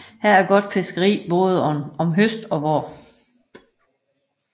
Her er got Fiskerie baade om Høst og Vaar